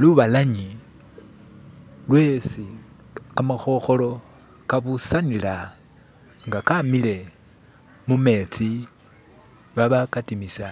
lubalanye lwesi kamahoholo kabusanila nga kamile mumetsi babakatimisa